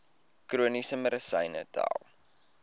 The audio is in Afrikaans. chroniese medisyne tel